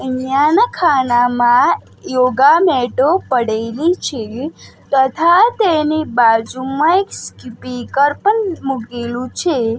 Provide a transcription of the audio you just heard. અહીંયા ના ખાનામાં યોગા મેટો પડેલી છે તથા તેની બાજુમાં એક સ્કિપર પણ મૂકેલું છે.